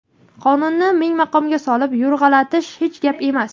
qonunni ming maqomga solib yo‘rg‘alatish hech gap emas.